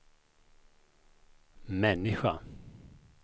människa